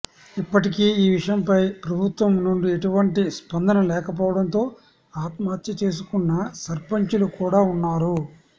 ఇప్పటికీ ఈ విషయంపై ప్రభుత్వం నుండి ఎటువంటి స్పందన లేకపోవడంతో ఆత్మహత్య చేసుకున్న సర్పంచ్ లు కూడా ఉన్నారు